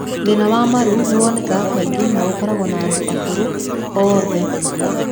Thĩna wa wa marũ nĩ wonekaga kaingĩ na ũkoragwo na andũ a ũkũrũ wowothe.